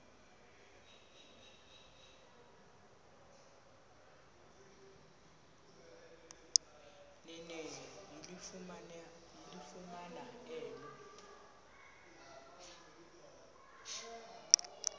nene yalifumana elo